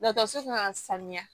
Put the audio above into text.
Dɔkɔtɔrɔso kan ka sanuya